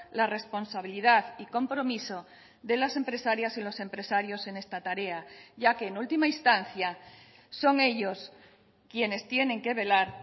la responsabilidad y compromiso de las empresarias y los empresarios en esta tarea ya que en última instancia son ellos quienes tienen que velar